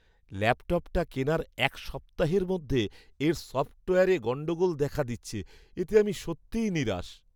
ল্যাপটপটা কেনার এক সপ্তাহের মধ্যে এর সফ্টওয়্যারে গণ্ডগোল দেখা দিচ্ছে, এতে আমি সত্যি নিরাশ।